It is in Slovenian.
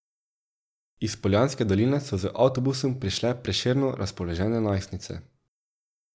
Iz Poljanske doline so z avtobusom prišle prešerno razpoložene najstnice.